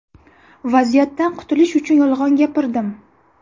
Vaziyatdan qutilish uchun yolg‘on gapirdim.